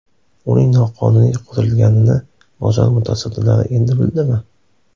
Uning noqonuniy qurilganini bozor mutasaddilari endi bildimi?